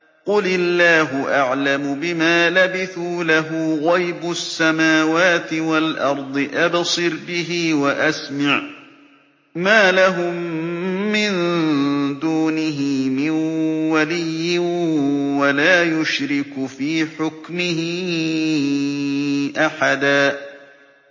قُلِ اللَّهُ أَعْلَمُ بِمَا لَبِثُوا ۖ لَهُ غَيْبُ السَّمَاوَاتِ وَالْأَرْضِ ۖ أَبْصِرْ بِهِ وَأَسْمِعْ ۚ مَا لَهُم مِّن دُونِهِ مِن وَلِيٍّ وَلَا يُشْرِكُ فِي حُكْمِهِ أَحَدًا